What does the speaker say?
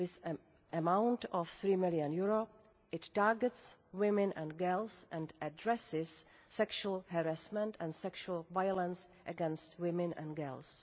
With an amount of EUR 3 million, it targets women and girls and addresses sexual harassment and sexual violence against women and girls.